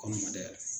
Kɔɲɔ ma dayɛlɛ